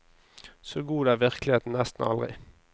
Så god er virkeligheten nesten aldri.